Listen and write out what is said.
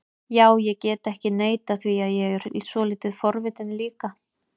Já, ég get ekki neitað því að ég er svolítið forvitinn líka